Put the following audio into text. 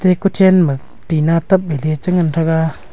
ei kuchen ma tina pap ley chi ngan thaga.